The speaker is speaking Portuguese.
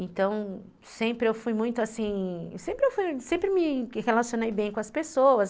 Então, sempre eu fui muito assim, sempre me relacionei bem com as pessoas.